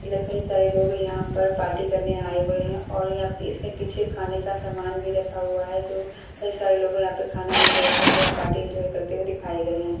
कई सारे लोग यहां पर पार्टी करने आए हुए हैं और यहां इसमें पीछे खाने का सामान भी रखा हुआ है जो कई सारे लोग यहां पर खाना एंजॉय कर रहे हैं। पार्टी एंजॉय करते हुए दिखाए गए हैं।